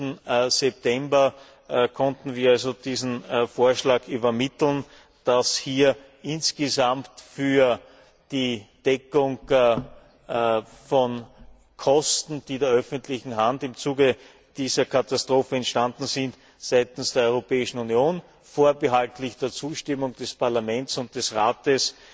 14. September konnten nun wir diesen Vorschlag übermitteln, dass hier insgesamt für die Deckung von Kosten, die der öffentlichen Hand im Zuge dieser Katastrophe entstanden sind, seitens der Europäischen Union vorbehaltlich der Zustimmung des Parlaments und des Rates